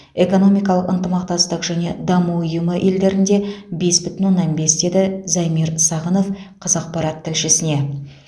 экономикалық ынтымақтастық және даму ұйымы елдерінде бес бүтін оннан бес деді замир сағынов қазақпарат тілшісіне